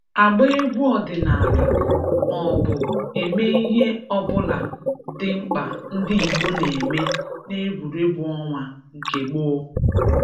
agba egwu ọdịnala ma ọ bụ eme ihe ọ bụla dị mkpa ndị Igbo na-eme n'egwuregwu ọnwa nke gboo